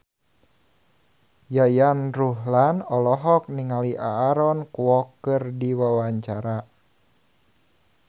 Yayan Ruhlan olohok ningali Aaron Kwok keur diwawancara